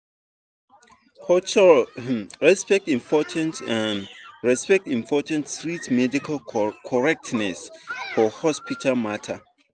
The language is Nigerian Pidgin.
cultural um respect important um respect important reach medical correc ten ess for hospital matter.